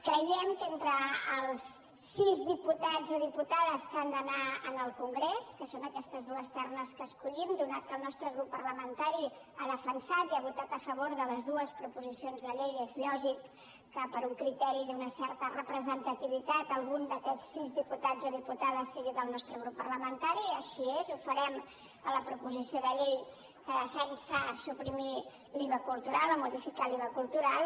creiem que entre els sis diputats o diputades que han d’anar al congrés que són aquestes dues ternes que escollim atès que el nostre grup parlamentari ha defensat i ha votat a favor de les dues proposicions de llei és lògic que per un criteri d’una certa representativitat algun d’aquests sis diputats o diputades sigui del nostre grup parlamentari i així és i ho farem a la proposició de llei que defensa suprimir l’iva cultural o modificar l’iva cultural